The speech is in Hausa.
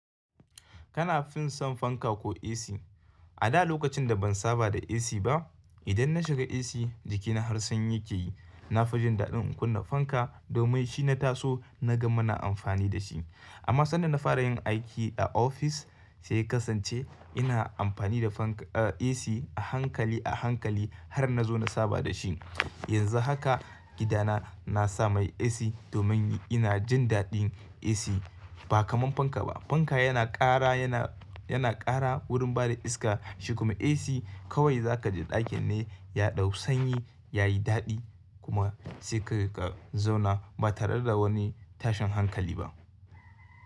Kana fin son fanka ko AC? A da lokacin da ban saba da AC ba, idan na shiga AC jikina har sanyi yake yi. Na fi jin daɗin in kunna fanka domin shi na taso na ga muna amfani da shi. Amma sanda na fara yin aiki a ofis sai kasance ina amfani da fanka, eh AC a hankali a hankali har na zo na saba da shi. Yanzu haka gidana na sa mai AC domin ina jin daɗin AC ba kamar fanka ba. Fanka yana ƙara yana, yana ƙara wurin bada iska shi kuma AC kawai za ka ji ɗakin ne ya ɗau sanyi yayi daɗi kuma sai ka zauna ba tare da wani tashin hankali ba.